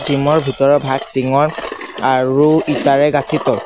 Gym ৰ ভিতৰৰ ভাগ টিঙৰ আৰু ইটাৰে গাঠিত ।